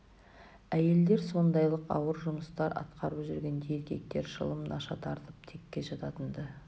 әйелдер сондайлық ауыр жұмыстар атқарып жүргенде еркектер шылым наша тартып текке жататын-ды